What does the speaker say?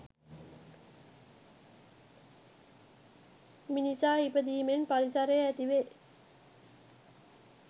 මිනිසා ඉපදීමෙන් පරිසරය ඇතිවේ